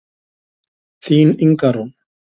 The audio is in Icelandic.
Þín Inga Rún.